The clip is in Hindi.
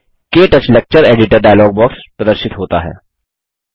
क्टच लेक्चर एडिटर डायलॉग प्रदर्शित होता है